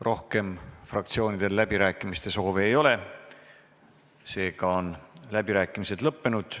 Rohkem fraktsioonidel läbirääkimiste soovi ei ole, läbirääkimised on lõppenud.